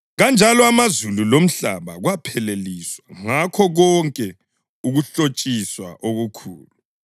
Kanjalo amazulu lomhlaba kwapheleliswa ngakho konke ukuhlotshiswa okukhulu.